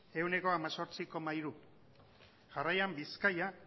ehuneko hemezortzi koma hiru jarraian bizkaia